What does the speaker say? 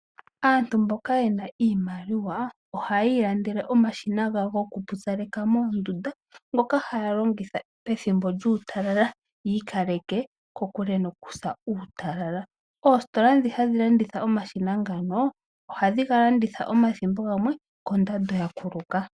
Aantu mboka yena iimaliwa ohaya ilandele omashina gawo gokupupyaleka moondunda ngoka haya longitha pethimbo lyuutalala yi ikaleke kokule nokusa uutalala. Oositola dhi hadhi landitha omashina ngano omathimbo gamwe ohadhi ga landitha kondando ya kuluka.